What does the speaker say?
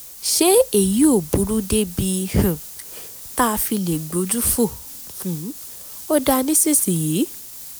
ṣé èyí ò burú débi um tá a fi lè gbójú fò um ó dá nísinsìnyí?